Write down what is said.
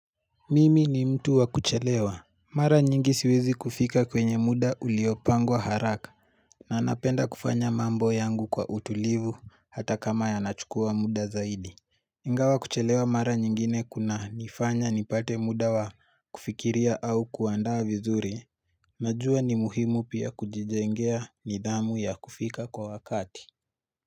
Mimi ni mtu wa kuchelewa Mara nyingi siwezi kufika kwenye muda uliopangwa haraka na napenda kufanya mambo yangu kwa utulivu hata kama yanachukua muda zaidi Ingawa kuchelewa mara nyingine kunanifanya nipate muda wa kufikiria au kuandaa vizuri najua ni muhimu pia kujijengea nidhamu ya kufika kwa wakati.